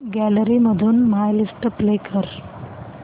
gallery मधून my list play कर